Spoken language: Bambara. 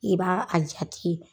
I b'a a jati.